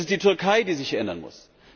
Es ist die Türkei, die sich ändern muss.